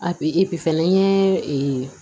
fana n ye